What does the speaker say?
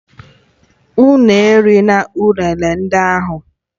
Unu erila ụnene ndị ahụ!